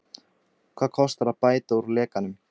Hvað kostar að bæta úr lekanum?